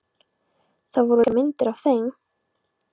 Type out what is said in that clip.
Það voru líka myndir af þeim.